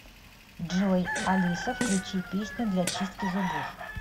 джой алиса включи песню для чистки зубов